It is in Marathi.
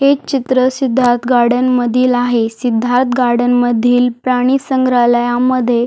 हे चित्र सिद्धार्थ गार्डन मधील आहे सिद्धार्थ गार्डन मधील प्राणी संग्रालया मध्ये--